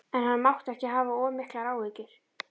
En hann mátti ekki hafa of miklar áhyggjur.